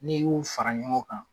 N'i y'u fara ɲɔgɔn kan